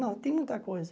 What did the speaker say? Não, tem muita coisa.